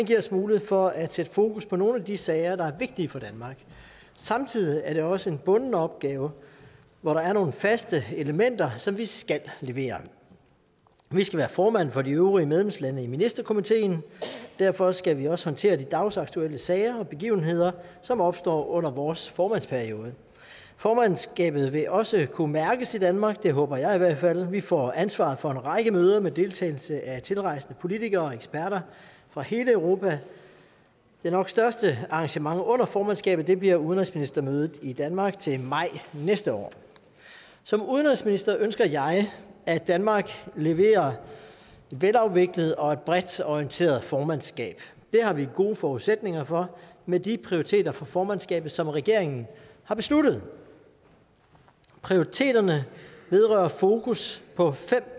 giver os mulighed for at sætte fokus på nogle af de sager der er vigtige for danmark samtidig er det også en bunden opgave hvor der er nogle faste elementer som vi skal levere vi skal være formand for de øvrige medlemslande i ministerkomiteen derfor skal vi også håndtere de dagsaktuelle sager og begivenheder som opstår under vores formandsperiode formandskabet vil også kunne mærkes i danmark det håber jeg i hvert fald vi får ansvaret for en række møder med deltagelse af tilrejsende politikere og eksperter fra hele europa det nok største arrangement under formandskabet bliver udenrigsministermødet i danmark til maj næste år som udenrigsminister ønsker jeg at danmark leverer et velafviklet og bredt orienteret formandskab det har vi gode forudsætninger for med de prioriteter for formandskabet som regeringen har besluttet prioriteterne vedrører fokus på fem